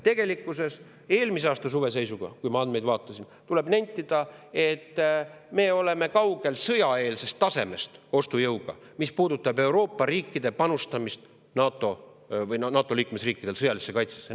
Tegelikkuses, eelmise aasta suve seisu põhjal – ma neid andmeid vaatasin – tuleb nentida, et me oleme ostujõuga kaugel sõjaeelsest tasemest, mis puudutab Euroopa riikide, NATO liikmesriikide panustamist sõjalisse kaitsesse.